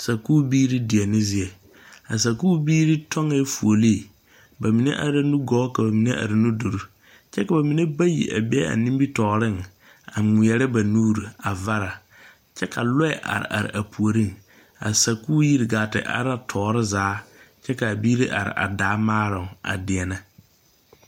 Sakubiire deɛne zie a sakubiire tɔngee fuollee ba mine are la nugɔɔ ka ba mine are nudure kyɛ ka ba mine bayi a be a nimitɔɔreŋ a ngmeɛrɛ ba nuure a varra kyɛ ka lɔɛ are are a puoriŋ a sakuuri yiri gaa te are la tɔɔre zaa kyɛ kaa biire are a daa maaroŋ a deɛnnɛ.